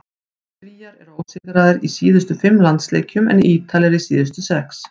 Svíar eru ósigraðir í síðustu fimm landsleikjum en Ítalir í síðustu sex.